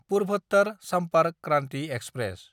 Purvottar Sampark Kranti express